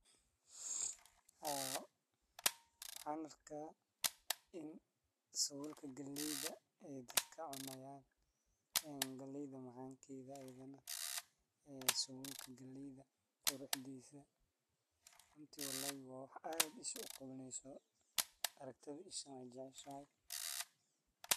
Waxan arka ini sawulka galeyda ey dadka cunayan ee galeyda macankeda ayadana sawulka galeyda quruxdisa runti wa wax aad isoqawaneyso aragtida ishana wey jeceshahay.